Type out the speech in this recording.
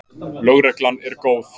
LÖGREGLAN ER GÓÐ.